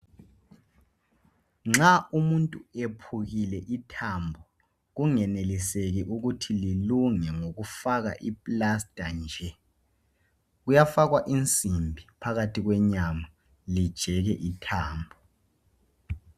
Nxa umuntu ephukile ithambo, kungeneliseki ukuthi lilunge ngokufaka i plaster nje, kuyafakwa inzimbi phakathi kwenyama ijeke ithambo.